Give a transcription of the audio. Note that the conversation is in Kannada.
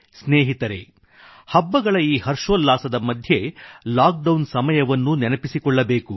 ಸ್ನೇಹಿತರೇ ಹಬ್ಬಗಳ ಈ ಹರ್ಷೋಲ್ಲಾಸದ ಮಧ್ಯೆ ಲಾಕ್ ಡೌನ್ ಸಮಯವನ್ನೂ ನೆನಪಿಸಿಕೊಳ್ಳಬೇಕು